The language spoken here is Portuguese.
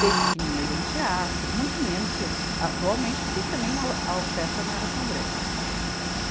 Desde pequeninha eu ia em teatro, muito menos que atualmente, porque também a o, a oferta não era tão grande.